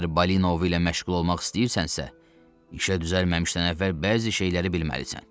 Əgər Balinovu ilə məşğul olmaq istəyirsənsə, işə düzəlməmişdən əvvəl bəzi şeyləri bilməlisən.